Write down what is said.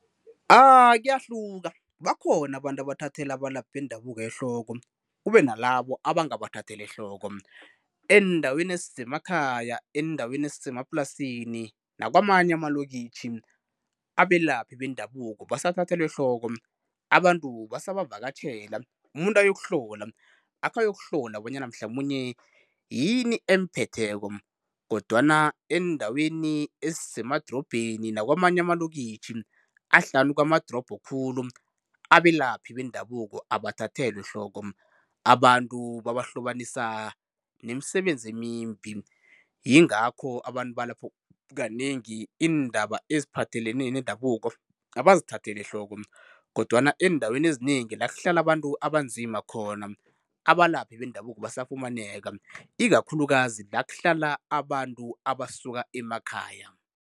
Kuyahluka, bakhona abantu abathathela abalaphi bendabuko ehloko kube nalabo abangabathatheli ehloko. Eendaweni ezisemakhaya, eendaweni ezisemaplasini nakwamanye amalokitjhi abelaphi bendabuko basathathelwa ehloko, abantu basabavakatjhela umuntu ayokuhlola akhayokuhlola bona mhlamunye yini emphetheko. Kodwana eendaweni ezisemadorobheni nakwamanye amalokitjhi ahlanu kwamadorobho khulu abelaphi bendabuko abathathelwa ehloko, abantu babahlobanisa nemisebenzi emimbi yingakho abantu balapho iindaba kanengi eziphathelene nendabuko abazithatheli ehloko kodwana eendaweni ezinengi la kuhlala abantu abanzima khona abalaphi bendabuko basafumaneka, ikakhulukazi la kuhlala abantu abasuka emakhaya.